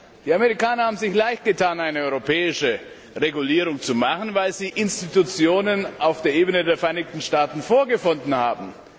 Die Amerikaner haben sich leichtgetan, eine europäische Regulierung zu machen, weil sie Institutionen auf der Ebene der Vereinigten Staaten vorgefunden haben.